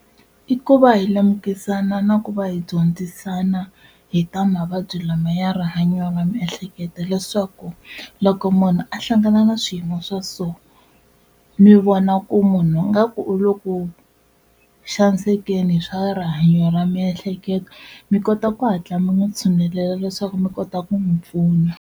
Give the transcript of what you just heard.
I ku va hi lemukisana na ku va hi dyondzisana hi ta mavabyi lama ya rihanyo ra miehleketo leswaku loko munhu a hlangana na swiyimo swa so, mi vona ku munhu ingaku u le ku xanisekeni hi swa rihanyo ra miehleketo mi kota ku hatla mi n'wi tshunelela leswaku mi kota ku n'wi pfuna.